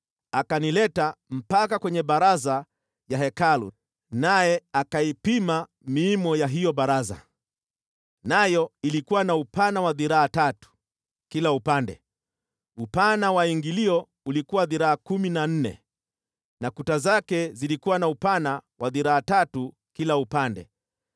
Akanileta mpaka kwenye baraza ya Hekalu naye akaipima miimo ya hiyo baraza, nayo ilikuwa na upana wa dhiraa tatu kila upande. Upana wa ingilio ulikuwa dhiraa kumi na nne na kuta zake zilikuwa na upana wa dhiraa tatu kila upande.